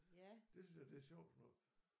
Det synes jeg det er sjovt sådan noget